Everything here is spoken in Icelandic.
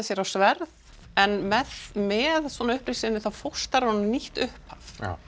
sér á sverð en með með uppreisn sinni þá fóstrar hún nýtt upphaf